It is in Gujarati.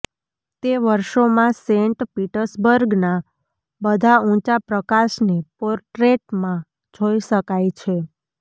તે વર્ષોમાં સેન્ટ પીટર્સબર્ગના બધા ઊંચા પ્રકાશને પોર્ટ્રેટમાં જોઇ શકાય છે